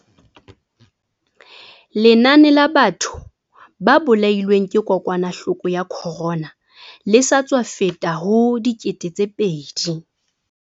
Lenane la batho ba bolailweng ke kokwanahloko ya corona le sa tswa feta ho 2 000.